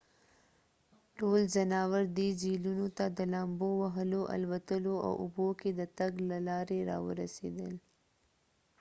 ټول ځناور دې جهیلونو ته د لامبو وهلو الوتلو او اوبو کې د تګ له لارې راورسیدل